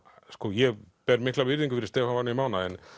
ég ber mikla virðingu fyrir Stefáni Mána en